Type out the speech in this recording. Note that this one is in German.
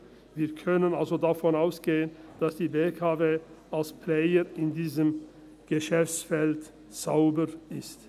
Wir können also davon ausgehen, dass die BKW als Player in diesem Geschäftsfeld sauber ist.